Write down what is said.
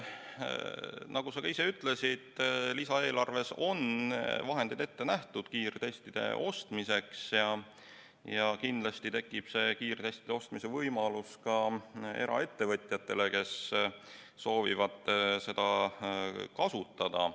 Nagu sa ka ise ütlesid, on lisaeelarves vahendid kiirtestide ostmiseks juba ette nähtud, ja kindlasti tekib kiirtestide ostmise võimalus ka eraettevõtjatel, kes soovivad neid kasutada.